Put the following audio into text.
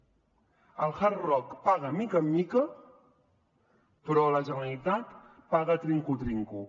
el hard rock paga de mica en mica però la generalitat paga trinco trinco